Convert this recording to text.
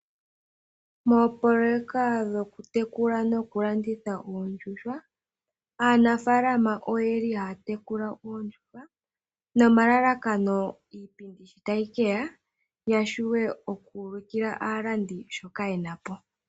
Moopoloyeka dhokutekula nokulanditha oondjuhwa, aanafalama oyeli haya tekula oondjuhwa, nomalalakano iipindi shi tayi keya, ya shiwe okuulikila aalandi shoka yena po.